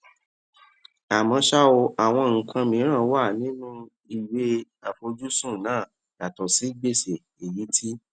àmó ṣá o àwọn nǹkan mìíràn wà nínú ìwé ìfojúsùn náà yàtò sí gbèsè èyí tí